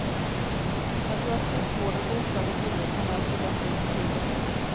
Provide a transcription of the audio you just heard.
Jag tror att sjukvården för utsatta kvinnor kommer att förbättras betydligt.